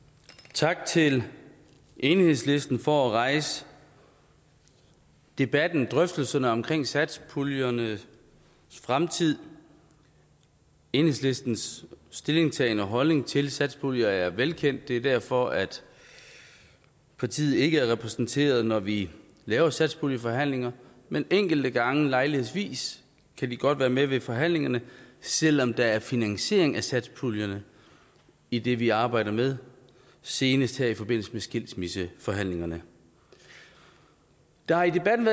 tak til enhedslisten for at rejse debatten og drøftelserne omkring satspuljernes fremtid enhedslistens stillingtagen og holdning til satspuljer er velkendt det er derfor at partiet ikke er repræsenteret når vi laver satspuljeforhandlinger men enkelte gange lejlighedsvis kan de godt være med ved forhandlingerne selv om der er finansiering af satspuljerne i det vi arbejder med senest her i forbindelse med skilsmisseforhandlingerne der har i debatten